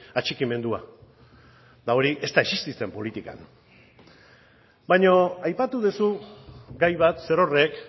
atxikimendua eta hori ez da existitzen politikan baina aipatu duzu gai bat zerorrek